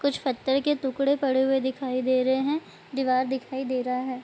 कुछ पत्थर के टुकड़े पड़े हुए दिखाई दे रहे है दीवार दिखाई दे रहा है ।